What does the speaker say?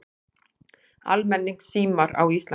Almenningssímar á Íslandi